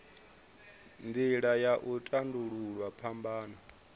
nila ya u tandululwa phambano